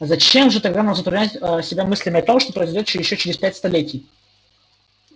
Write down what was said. зачем же тогда нам затруднять себя мыслями о том что произойдёт ещё через пять столетий